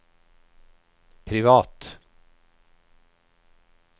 privat